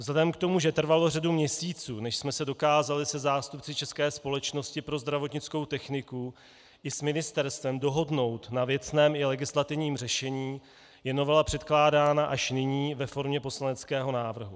Vzhledem k tomu, že trvalo řadu měsíců, než jsme se dokázali se zástupci České společnosti pro zdravotnickou techniku i s ministerstvem dohodnout na věcném i legislativním řešení, je novela předkládána až nyní ve formě poslaneckého návrhu.